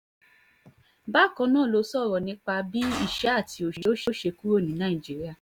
bákan náà ló sọ̀rọ̀ nípa bí ìṣẹ́ àti òṣì yóò ṣe kúrò ní nàìjíríà